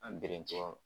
An bere tɔgɔ